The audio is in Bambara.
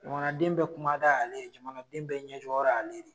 Jamanaden bɛ kuma da ale ye jamanaden bɛ ɲɛ jɔrɔ ye ale de ye.